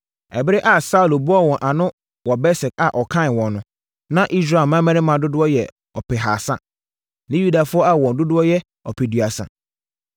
Ɛberɛ a Saulo boaa wɔn ano wɔ Besek a ɔkan wɔn no, na Israel mmarima dodoɔ yɛ ɔpehasa ne Yudafoɔ a wɔn dodoɔ yɛ ɔpeduasa.